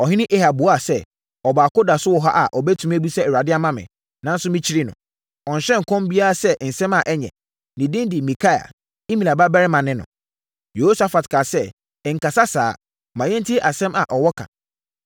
Ɔhene Ahab buaa sɛ, “Ɔbaako da so wɔ ha a ɔbɛtumi abisa Awurade ama me, nanso, mekyiri no. Ɔnhyɛ nkɔm biara sɛ nsɛm a ɛnyɛ. Ne din de Mikaia. Imla babarima ne no.” Yehosafat kaa sɛ, “Nkasa saa. Ma yɛntie asɛm a ɔwɔ ka.”